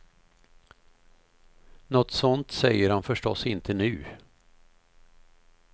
Något sådant säger han förstås inte nu.